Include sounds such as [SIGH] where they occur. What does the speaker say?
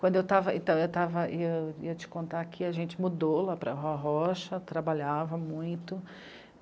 Quando eu estava [UNINTELLIGIBLE] ia te contar aqui, a gente mudou lá para a rorrocha, trabalhava muito.